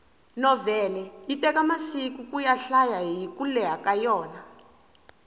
novhele yi teka masiku kuyi hlaya hiku leha ka yona